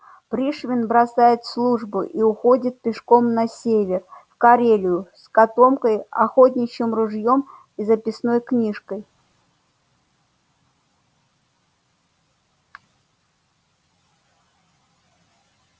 пришвин бросает службу и уходит пешком на север в карелию с котомкой охотничьим ружьём и записной книжкой